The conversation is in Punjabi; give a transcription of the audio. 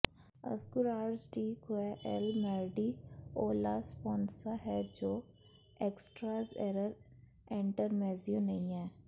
ਅਸਗੁਰਾਰਸ ਡੀ ਕੁਏ ਐੱਲ ਮੈਰਡੀ ਓ ਲਾ ਸਪੋਂਸਾ ਹੈ ਜੋ ਐਕਸਟਰਾਜ਼ ਐਰਰ ਐਂਟਰਮੈਜਿਯੂ ਨਹੀਂ ਹੈ